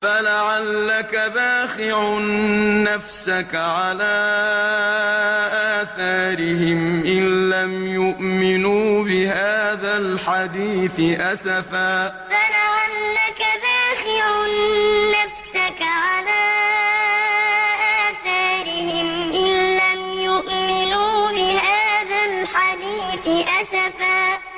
فَلَعَلَّكَ بَاخِعٌ نَّفْسَكَ عَلَىٰ آثَارِهِمْ إِن لَّمْ يُؤْمِنُوا بِهَٰذَا الْحَدِيثِ أَسَفًا فَلَعَلَّكَ بَاخِعٌ نَّفْسَكَ عَلَىٰ آثَارِهِمْ إِن لَّمْ يُؤْمِنُوا بِهَٰذَا الْحَدِيثِ أَسَفًا